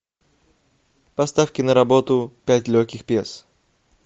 поставь киноработу пять легких пьес